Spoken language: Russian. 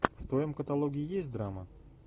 в твоем каталоге есть драма